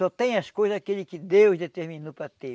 Só tem as coisas aquele que Deus determinou para ter.